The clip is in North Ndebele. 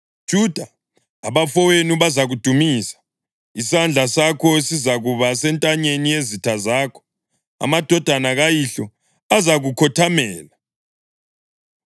Juda, abafowenu bazakudumisa; isandla sakho sizakuba sentanyeni yezitha zakho; amadodana kayihlo azakukhothamela.